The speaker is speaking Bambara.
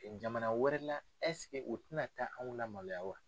Jamana wɛrɛ la u tɛna taa anw lamaloya wa?